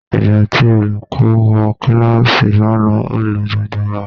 Ìgbà tí olùkọ́ wọ kíláàsì lánàá ó lu gbogbo wa.